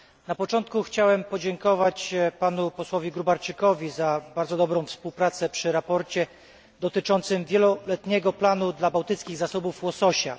Na początku chciałbym podziękować panu posłowi Grubarczykowi za bardzo dobrą współpracę nad sprawozdaniem dotyczącym wieloletniego planu dla bałtyckich zasobów łososia.